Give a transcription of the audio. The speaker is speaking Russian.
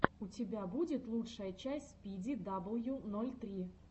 у тебя будет лучшая часть спиди дабл ю ноль три